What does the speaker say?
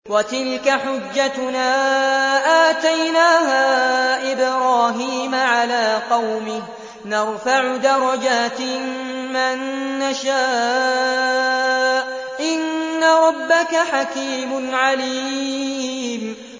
وَتِلْكَ حُجَّتُنَا آتَيْنَاهَا إِبْرَاهِيمَ عَلَىٰ قَوْمِهِ ۚ نَرْفَعُ دَرَجَاتٍ مَّن نَّشَاءُ ۗ إِنَّ رَبَّكَ حَكِيمٌ عَلِيمٌ